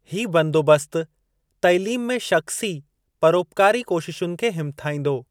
ही बंदोबस्तु तालीम में शख़्सी, परोपकारी कोशिशुनि खे हिमथाईंदो।